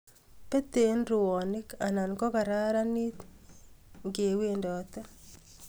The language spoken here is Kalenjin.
Petee eng rwonim anan kogararanit ngiwendote